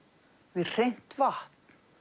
við hreint vatn